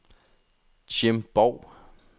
Jim Borg